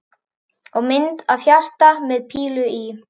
Og mynd af hjarta með pílu í.